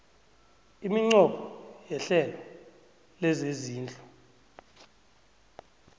iminqopho yehlelo lezezindlu